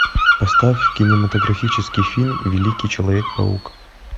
поставь кинематографический фильм великий человек паук